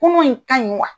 Kunun in ka ɲi wa